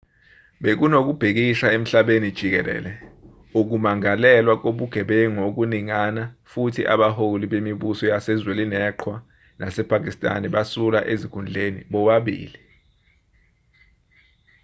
bekunokubhikisha emhlabeni jikelele ukumangalelwa kobugebengu okuningana futhi abaholi bemibuso yase-zwenileqhwa nasepakistan basula ezikhundleni bobabili